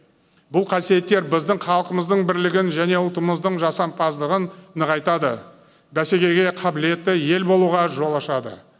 бұл қасиеттер біздің халқымыздың бірлігін және ұлтымыздың жасампаздығын нығайтады бәсекеге қабілетті ел болуға жол ашады